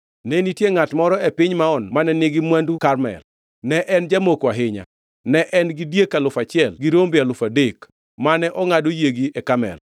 Ne nitie ngʼat moro e piny Maon mane nigi mwandu Karmel, ne en jamoko ahinya. Ne en gi diek alufu achiel gi rombe alufu adek, mane ongʼado yiegi e Karmel.